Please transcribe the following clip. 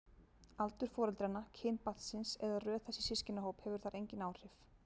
Aldur foreldranna, kyn barnsins eða röð þess í systkinahóp hefur þar engin áhrif.